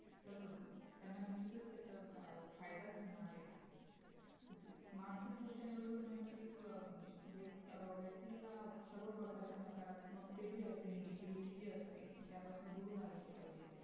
तर त्यांना निश्चितच त्याचा फायदाच होणार आहे मानसिक दृष्ट्या निरोगी होण्यासाठी सुरवात म्हणजे व्यक्तीला सर्वप्रकारच्या नकारात्मकता जी असते negativity जी असते त्यापासून दूर राहील पाहिजे